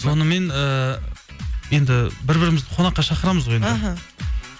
сонымен ыыы енді бір бірімізді қонаққа шақырамыз ғой енді іхі